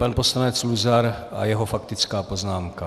Pan poslanec Luzar a jeho faktická poznámka.